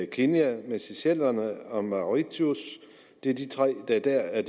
kenya seychellerne og mauritius det er de tre der dér er